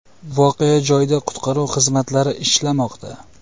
Voqea joyida qutqaruv xizmatlari ishlamoqda.